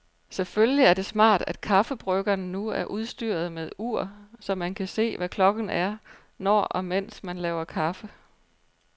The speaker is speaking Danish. Selvfølgelig er det smart, at kaffebryggeren nu er udstyret med ur, så man kan se, hvad klokken er, når og mens man laver kaffe.